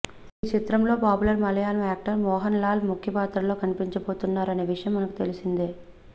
ఈ చిత్రం లో popular Malayalam actor Mohanlal ముఖ్య పాత్రలో కనిపించబోతున్నారు అనే విషయం మనకు తెలిసిందే